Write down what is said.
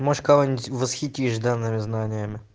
может кого-нибудь восхитишь данными знаниями